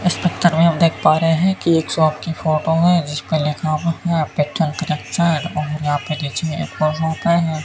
इस पिक्चर में हम देख पा रहे हैं कि एक शॉप की फोटो है जिस पर लिखा और यहां पे है।